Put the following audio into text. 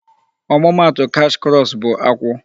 Ọmụma atụ cash crops bụ akwụ.